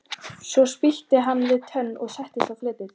Svo spýtti hann við tönn og settist á fletið.